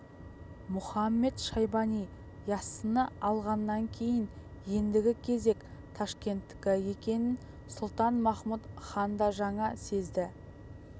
мұхамед-шайбани яссыны алғаннан кейін ендігі кезек ташкенттікі екенін сұлтан-махмұт хан да жаңа сезді